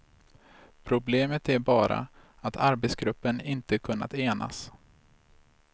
Problemet är bara att arbetsgruppen inte kunnat enas.